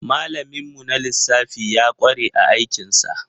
Malamin mu na lissafi ya ƙware a aikin sa.